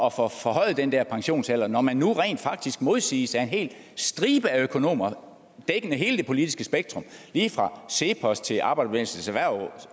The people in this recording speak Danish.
at få forhøjet den der pensionsalder når man nu rent faktisk modsiges af en hel stribe af økonomer dækkende hele det politiske spektrum lige fra cepos til arbejderbevægelsens